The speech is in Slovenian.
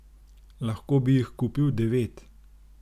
Lahko bi jih kupil devet!